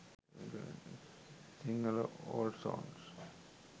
sinhala old songs